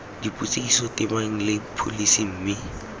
dipotsiso tebang le pholesi mme